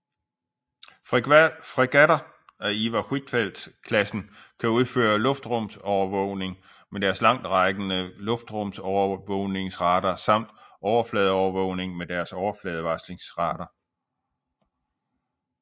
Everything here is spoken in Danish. Fregatter af Iver Huitfeldt klassen kan udføre luftrumsovervågning med deres langtrækkende luftrumsovervågningsradar samt overfladeovervågning med deres overfladevarslingsradar